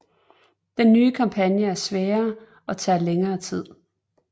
Den nye kampagne er sværere og tager længere tid